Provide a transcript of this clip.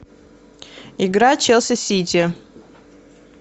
игра челси сити